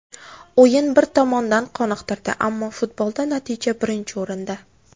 O‘yin bir tomondan qoniqtirdi, ammo futbolda natija birinchi o‘rinda.